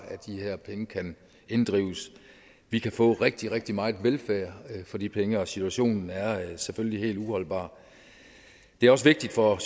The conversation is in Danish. af de her penge kan inddrives vi kan få rigtig rigtig meget velfærd for de penge og situationen er selvfølgelig helt uholdbar det er også vigtigt for